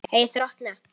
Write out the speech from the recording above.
Hey þrotna.